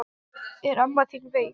Er amma þín veik?